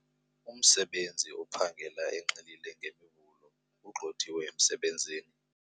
Umsebenzi ophangela enxilile nge ugxothiwe emsebenzini.